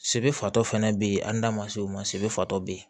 Sebe fatɔ fɛnɛ be yen an da ma se o ma se bɛ fatɔ bɛ ye